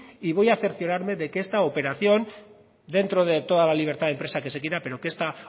y voy a cerciorarme de que esta operación dentro de toda la libertad de empresa que se quiera pero que esta